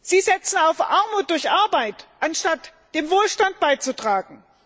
Sie setzen auf Armut durch Arbeit, anstatt zum Wohlstand beizutragen.